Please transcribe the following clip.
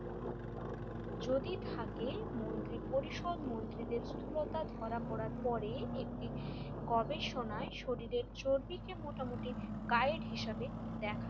যদি থাকে মন্ত্রী পরিষদ মন্ত্রীদের স্থূলতা ধরা পড়ার পরে একটি গবেষণায় শরীরের চর্বিকে মোটামুটি গাইড হিসেবে দেখা যায়।